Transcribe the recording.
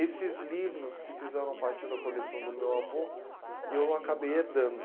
Esses livros que fizeram parte da coleção do meu avô, eu acabei herdando.